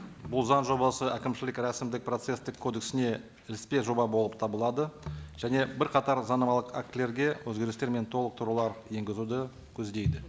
бұл заң жобасы әкімшілік рәсімдік процесстік кодексіне іліспе жоба болып табылады және бірқатар заңнамалық актілерге өзгерістер мен толықтырулар енгізуді көздейді